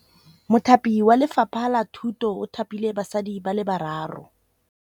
Mothapi wa Lefapha la Thutô o thapile basadi ba ba raro.